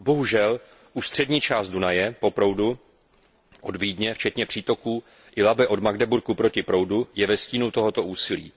Bohužel, už střední část Dunaje po proudu od Vídně, včetně přítoku Labe od Magdeburku proti proudu, je ve stínu tohoto úsilí.